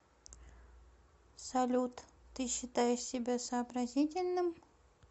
салют ты считаешь себя сообразительным